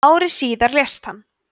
ári síðar lést hann